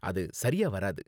அது சரியா வராது.